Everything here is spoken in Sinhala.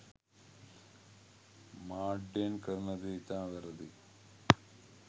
මාඩ්‍යයෙන් කරන දේ ඉතාම වැරදි.